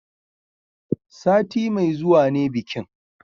Sati mai zuwa ne bikin